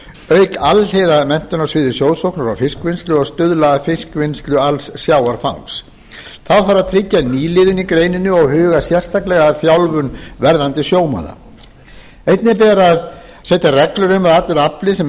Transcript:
auka alhliða menntun á sviði sjósóknar og fiskvinnslu og stuðla að fullvinnslu alls sjávarfangs þá þarf að tryggja nýliðun í greininni og huga sérstaklega að þjálfun verðandi sjómanna einnig ber að setja reglur um að allur afli sem